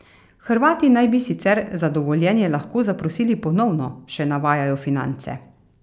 Hrvati naj bi sicer za dovoljenje lahko zaprosili ponovno, še navajajo Finance.